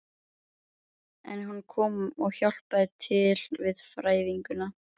En hún kom og hjálpaði til við fæðinguna.